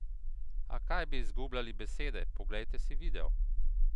A kaj bi izgubljali besede, poglejte si video!